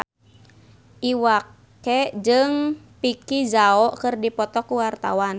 Iwa K jeung Vicki Zao keur dipoto ku wartawan